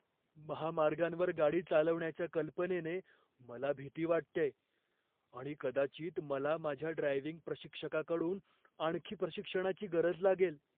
महामार्गांवर गाडी चालवण्याच्या कल्पनेने मला भीती वाटतेय आणि कदाचित मला माझ्या ड्रायव्हिंग प्रशिक्षकाकडून आणखी प्रशिक्षणाची गरज लागेल.